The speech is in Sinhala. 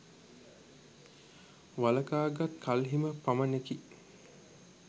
වළකාගත් කල්හිම පමණෙකි.